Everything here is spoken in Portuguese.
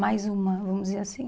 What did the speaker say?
Mais uma, vamos dizer assim.